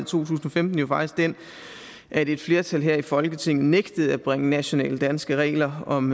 tusind og femten jo faktisk den at et flertal her i folketinget nægtede at bringe nationale danske regler om